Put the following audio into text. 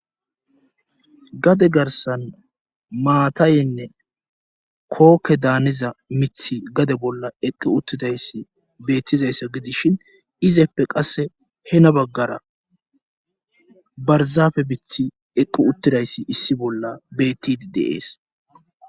gade garsan maatayenne kookke daaniza mithi gade bolla eqqi uttidayssi beettizayssa gidishin izeppe qasse hena baggara barzafe bithi eqqu uttidayssi issi bolla beettidi deees